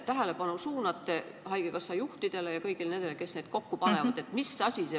Millele te suunate haigekassa juhtide ja kõigi nende, kes neid kokku panevad, tähelepanu?